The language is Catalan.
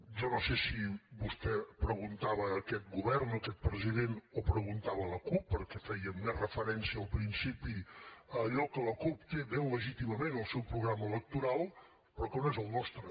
jo no sé si vostè preguntava a aquest govern o a aquest president o preguntava a la cup perquè feia més referència al principi a allò que la cup té ben legítimament al seu programa electoral però que no és al nostre